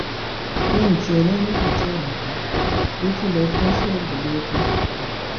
lẹyìn tí olanìyí tẹwọn dé ló tún lọọ fọ ṣọọbù lẹdẹ